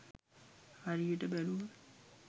හරියට බැලුවොත්